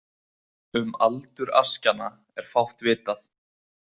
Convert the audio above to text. Um aldur askjanna er fátt vitað.